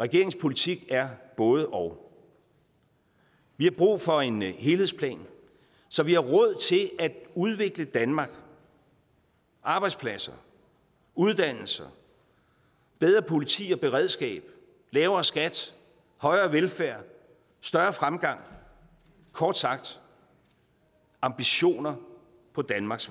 regeringens politik er både og vi har brug for en helhedsplan så vi har råd til at udvikle danmark arbejdspladser uddannelser bedre politi og beredskab lavere skat højere velfærd større fremgang kort sagt ambitioner på danmarks